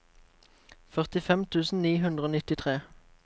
førtifem tusen ni hundre og nittitre